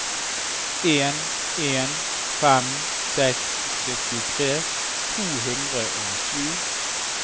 en en fem seks syttitre to hundre og sju